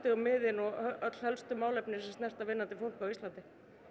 og miðin og öll helstu málefnin sem snerta vinnandi fólk á Íslandi